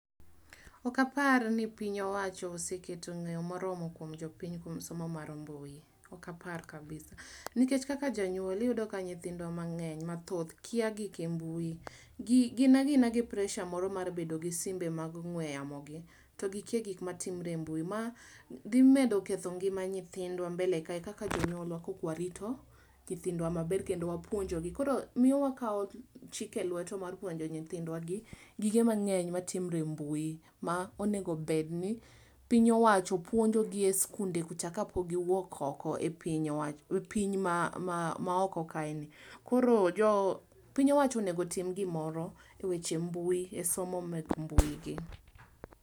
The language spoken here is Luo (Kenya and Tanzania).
Okapar ni piny owacho oseketo ng'eyo moromo kuom jopiny kuom somo mar mbui. ok apar kabisa . Nikech kaka janyuol iyudo ka nyithindwa mang'eny mathoth kia gige mbui. Gin a gina gi presa moro mar bedo gi simbe mag ong'we yamo gi to gikia gik ma timre e mbui. Ma dhi medo ketho ngima nyithindwa mbele kae kaka jonyuolwa ka ok warito nyithindwa maber kendo wapuonjo gi koro miyo wakayo chik elwetwa mar puonjo nyithindwa gi gige mang'eny matimre e mbui ma onego bed ni piny owacho puonjo gi e skunde kucha ka pok giwuok oko e piny owach piny ma koro piny owacho onego tim gimoro e weche mbui e somo mek mbui gi.